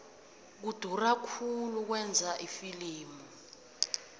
kudura khulu ukwenza ifilimu